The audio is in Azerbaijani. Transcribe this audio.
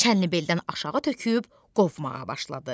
Çənnibeldən aşağı töküb qovmağa başladı.